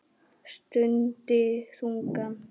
Stundi þungan.